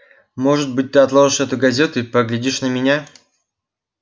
может быть ты отложишь эту газету и поглядишь на меня